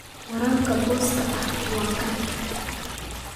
Waraabka booska ah waa caan.